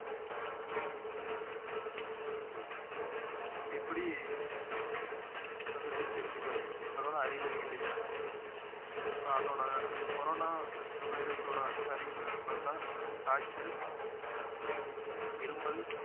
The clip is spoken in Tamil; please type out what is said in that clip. எப்படி வந்திருக்குன்னு தெரிஞ்சுகிறது அதோட அறிகுறிகள் என்ன இப்ப அதோட கொரோனா virus ஓட அறிகுறிகள்ன்னு பார்த்தா காய்ச்சல் இருமல்